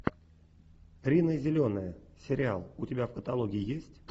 рина зеленая сериал у тебя в каталоге есть